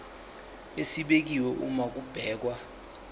esibekiwe uma kubhekwa